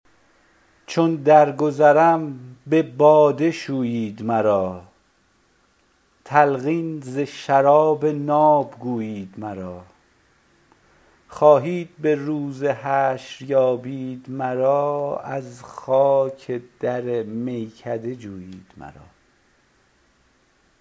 چون درگذرم به باده شویید مرا تلقین ز شراب ناب گویید مرا خواهید به روز حشر یابید مرا از خاک در میکده جویید مرا